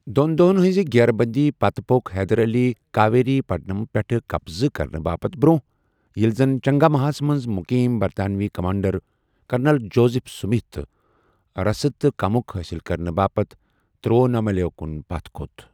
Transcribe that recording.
دوٚن دۄہَن ہنزِ گیرٕبندی پتہٕ پو٘ك حیدر علی کاویری پٹنمس پیٹھ قبضہ کرنہٕ باپتھ برٛونٛہہ، ییٚلہِ زن چنگاماہَس منٛز مقیم برطانوی کمانڈر، کرنل جوزف سِمِتھ رسد تہٕ کٗمک حٲصِل كرنہٕ باپتھ تِروُوناملایہِ کُن پتھ كھۄت ۔